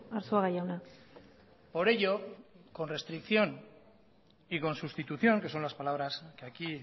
arzuaga jauna por ello con restricción y con sustitución que son las palabras que aquí